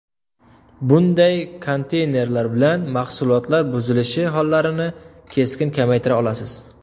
Bunday konteynerlar bilan mahsulotlar buzilishi hollarini keskin kamaytira olasiz.